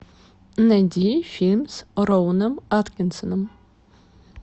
найди фильм с роуэном аткинсоном